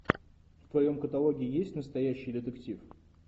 в твоем каталоге есть настоящий детектив